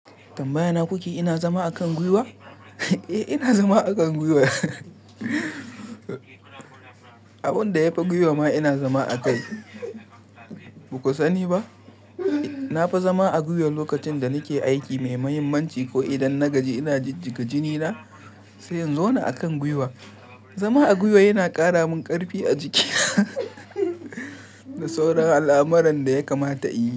Tambayana kuke ina zama a kan guiwa? Eh ina zama a kan guiwa. Abun da ya fi guiwa ma ina zama a kai. Ba ku sani ba, na fi zama a gwiwar lokacin da nake aiki mai mahimmanci ko idan na gaji ina jijjiga jini na, sai in zauna a kan guiwa. Zama a guiwa yana kara min karfi a jiki da sauran al'amuran da ya kamata in yi.